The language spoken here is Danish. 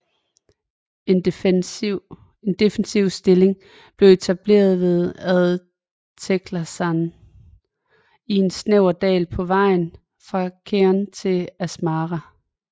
En defensiv stilling blev etableret ved Ad Teclesan i en snæver dal på vejen fra Keren til Asmara